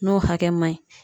N'o hakɛ ma ɲi